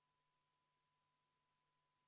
Kuulutan välja hääletustulemuse 40. parandusettepaneku kohta.